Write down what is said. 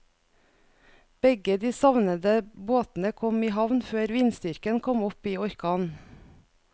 Begge de savnede båtene kom i havn før vindstyrken kom opp i orkan.